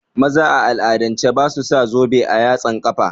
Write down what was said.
Maza a al'adance basu sa zobe a yatsan kafa